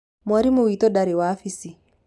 Mwarimũ witũ ndarĩ wabisi.